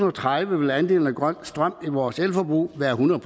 og tredive vil andelen af grøn strøm i vores elforbrug være hundrede